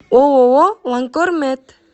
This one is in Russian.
ооо ланкор мед